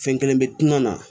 Fɛn kelen bɛ tunun na